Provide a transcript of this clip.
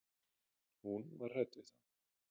Hún var hrædd við þá.